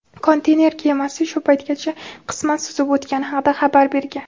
konteyner kemasi shu paytgacha qisman suzib o‘tgani haqida xabar bergan.